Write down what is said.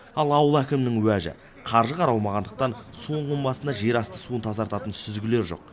ал ауыл әкімінің уәжі қаржы қаралмағандықтан су ұңғымасында жерасты суын тазартатын сүзгілер жоқ